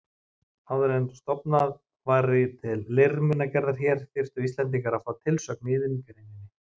Áður en stofnað væri til leirmunagerðar hér, þyrftu Íslendingar að fá tilsögn í iðngreininni.